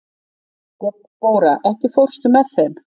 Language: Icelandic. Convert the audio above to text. Debóra, ekki fórstu með þeim?